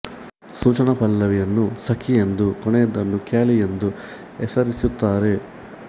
ಸೂಚನ ಪಲ್ಲವಿಯನ್ನು ಸಖಿ ಎಂದೂ ಕೊನೆಯದನ್ನು ಖ್ಯಾಲಿ ಎಂದೂ ಹೆಸರಿಸುತ್ತಾರೆ